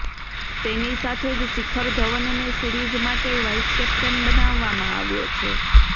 તેની સાથે જ શિખર ધવનને સીરિઝ માટે વાઈસ કેપ્ટન બનાવવામાં આવ્યો છે